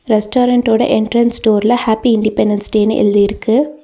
Restaurant ஓட entrance டோர்ல happy independence டேனு எழுதி இருக்கு.